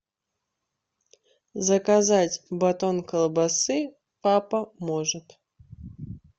заказать батон колбасы папа может